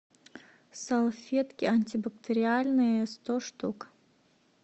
салфетки антибактериальные сто штук